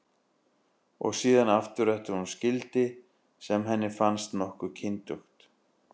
Og síðan aftur eftir að hún skildi, sem henni fannst nokkuð kyndugt.